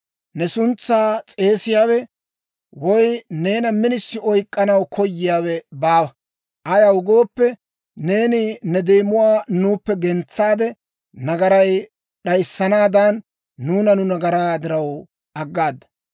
Ne suntsaa s'eesiyaawe, woy neena minisi oykkanaw koyiyaawe baawa. Ayaw gooppe, neeni ne deemuwaa nuuppe gentsaade nagaray d'ayssanaadan; nuuna nu nagaraa diraw, aggaada.